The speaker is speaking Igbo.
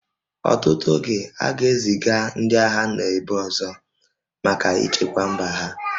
Ọtụtụ oge, a ga-eziga ndị agha n'ebe ọzọ maka ichekwa mba ha